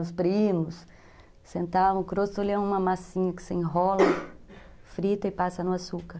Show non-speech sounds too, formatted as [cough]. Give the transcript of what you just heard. Os [unintelligible] sentavam, o grostoli ali é uma massinha que você enrola, [coughs] frita e passa no açúcar.